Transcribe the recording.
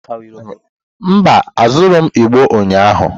Mba, azụrụghị m igbo ụnyahụ.